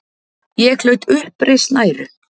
Ég hlaut uppreisn æru.